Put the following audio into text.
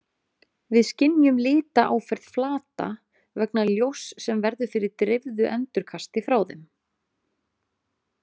Við skynjum litaáferð flata vegna ljóss sem verður fyrir dreifðu endurkasti frá þeim.